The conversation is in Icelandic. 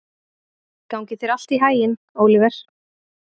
Gangi þér allt í haginn, Óliver.